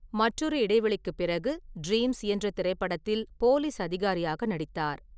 மற்றொரு இடைவெளிக்குப் பிறகு, ட்ரீம்ஸ் என்ற திரைப்படத்தில் போலீஸ் அதிகாரியாக நடித்தார்.